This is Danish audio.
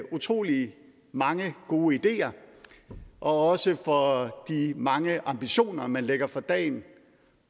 utrolig mange gode ideer og også for de mange ambitioner man lægger for dagen